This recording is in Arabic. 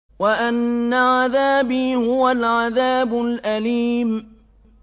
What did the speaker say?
وَأَنَّ عَذَابِي هُوَ الْعَذَابُ الْأَلِيمُ